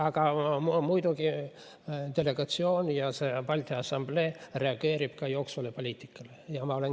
Aga muidugi delegatsioon ja Balti Assamblee reageerib ka jooksvale poliitikale.